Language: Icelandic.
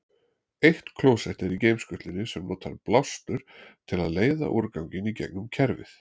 Eitt klósett er í geimskutlunni sem notar blástur til að leiða úrganginn í gegnum kerfið.